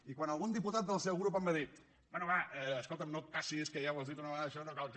i quan algun diputat del seu grup em va dir bé va escolta no et passis que ja ho has dit una vegada això no cal que